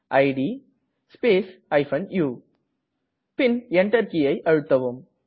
it space u பின் Enter கீயை அழுத்தவும்